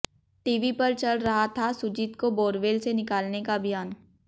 TV पर चल रहा था सुजीत को बोरवेल से निकालने का अभियान